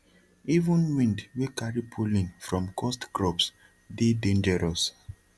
even wind wey carry pollen from cursed crops dey dangerous